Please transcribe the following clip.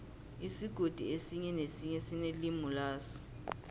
isigodi esinye nesinye sinelimi laso